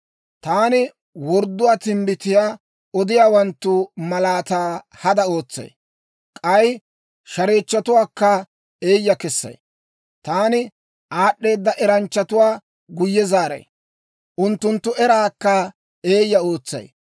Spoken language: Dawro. Taani wordduwaa timbbitiyaa odiyaawanttu malaataa hada ootsay; k'ay shareechchotuwaakka eeyya kessay. Taani aad'd'eeda eranchchatuwaa guyye zaaray; unttunttu eraakka eeyya ootsay.